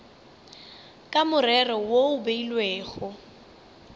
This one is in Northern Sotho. ka morero wo o beilwego